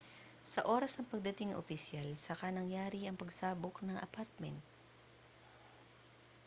sa oras ng pagdating ng opisyal saka nangyari ang pagsabog ng apartment